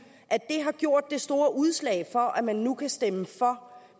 i lovforslaget har gjort det store udslag for at man nu kan stemme for